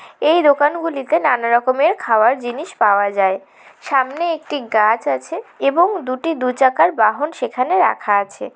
এই দোকানগুলিতে নানা রকমের খাবার জিনিস পাওয়া যায়। সামনে একটি গাছ আছে এবং দুটি দু চাকার বাহন সেখানে রাখা আছে।